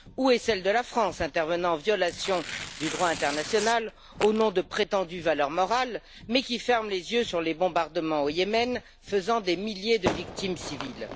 Où est celle de la France, qui intervient en violation du droit international au nom de prétendues valeurs morales, mais qui ferme les yeux sur les bombardements au Yémen faisant des milliers de victimes civiles?